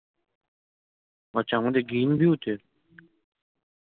আচ্ছা আমাদের গ্রিনভিউ তে